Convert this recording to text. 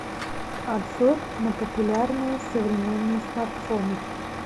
обзор на популярные современные смартфоны